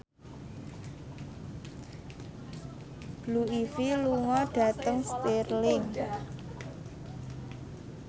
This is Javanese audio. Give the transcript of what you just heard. Blue Ivy lunga dhateng Stirling